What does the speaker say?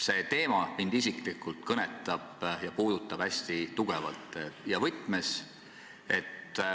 See teema mind isiklikult kõnetab ja puudutab hästi tugevalt.